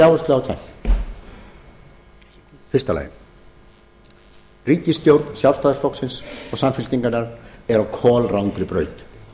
áherslu á það í fyrsta lagi að ríkisstjórn sjálfstæðisflokks og samfylkingarinnar er á kolrangri braut